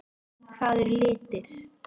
Hvað eru litir?